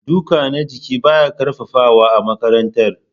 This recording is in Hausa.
Duka na jiki baya ƙarfafawa a makarantara.